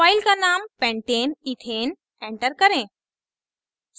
file का name pentaneethane enter करें